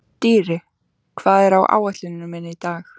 Dýri, hvað er á áætluninni minni í dag?